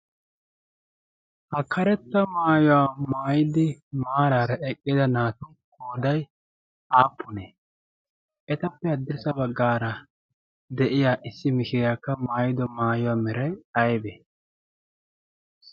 ha karetta maayuwaa maayidi maaraara eqqida naatu koodai aappunee ?etappe addessa baggaara de7iya issi mishiriyaakka maayido maayuwaa merai aibe?